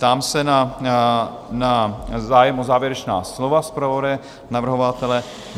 Ptám se na zájem o závěrečná slova - zpravodaje, navrhovatele?